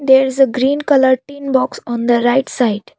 there is a green color tin box on the right side.